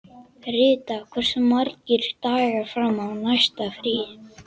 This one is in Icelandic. Rita, hversu margir dagar fram að næsta fríi?